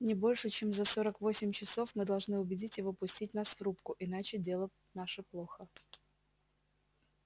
не больше чем за сорок восемь часов мы должны убедить его пустить нас в рубку иначе дело наше плохо